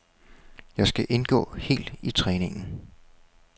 Jeg skal indgå helt i træningen.